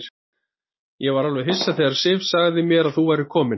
Ég var alveg hissa þegar Sif sagði mér að þú værir kominn.